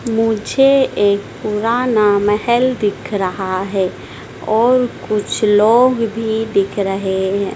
मुझे एक पुराना महल दिख रहा है और कुछ लोग भी दिख रहे हैं।